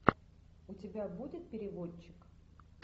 у тебя будет переводчик